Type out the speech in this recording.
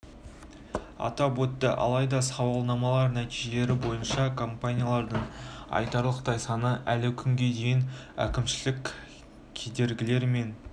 атап өтті алайда сауалнамалар нәтижелері бойынша компаниялардың айтарлықтай саны әлі күнге дейін әкімшілік кедергілер мен